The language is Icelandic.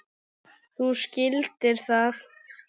Þú skildir það.